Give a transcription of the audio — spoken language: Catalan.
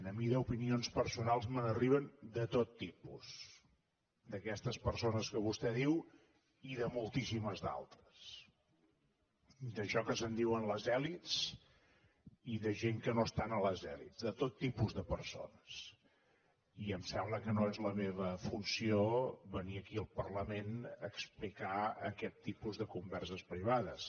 a mi d’opinions personals me n’arriben de tot tipus d’aquestes persones que vostè diu i de moltíssimes altres d’això que se’n diuen les elits i de gent que no estan a les elits de tot tipus de persones i em sembla que no és la meva funció venir aquí al parlament a explicar aquest tipus de converses privades